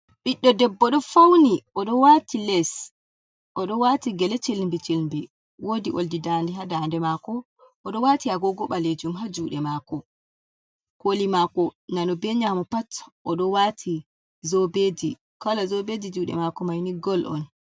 Ɓiddo debbo ɗo fauni oɗo waati les, oɗo waati gele ciilmbi ciilmbi woodi oldi dande haa dande maako, oɗo waati agogo ɓalejum ha juuɗe maako. Kooli maako nano be nyamu pat oɗo waati zobeeji, koolo zobeeji juuɗe maako maini gool'on.